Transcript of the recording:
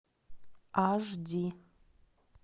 аш ди